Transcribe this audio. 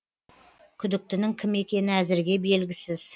күдіктінің кім екені әзірге белгісіз